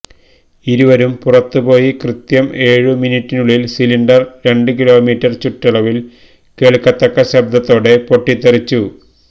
ഇരുവരും പുറത്തു പോയി കൃത്യം ഏഴു മിനിറ്റിനുള്ളില് സിലിണ്ടര് രണ്ട് കിലോമീറ്റര് ചുറ്റളവില് കേള്ക്കത്തക്ക ശബ്ദത്തോടെ പൊട്ടിത്തെറിച്ചു